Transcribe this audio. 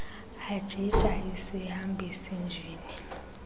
ajija isihambisi njini